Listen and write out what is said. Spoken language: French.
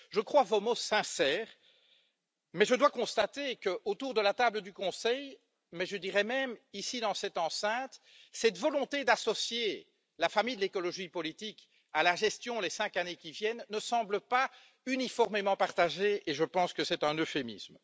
Je crois vos mots sincères mais je dois constater que, autour de la table du Conseil mais je dirais même ici dans cette enceinte cette volonté d'associer la famille de l'écologie politique, à la gestion des cinq années qui viennent, ne semble pas uniformément partagée et je pense que c'est un euphémisme.